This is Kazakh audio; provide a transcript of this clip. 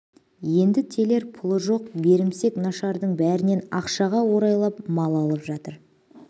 енді телер пұлы жоқ берімсек нашардың бәрінен ақшаға орайлап мал алып жатыр